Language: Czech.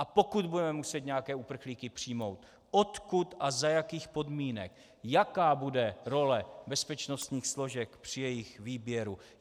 A pokud budeme muset nějaké uprchlíky přijmout, odkud a za jakých podmínek, jaká bude role bezpečnostních složek při jejich výběru.